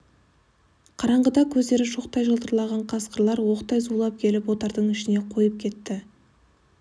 қараңғыда көздері шоқтай жылтыраған қасқырлар оқтай зулап келіп отардың ішіне қойып кетті